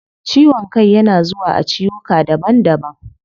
Ciwon kai yana zuwa a ciwuka daban daban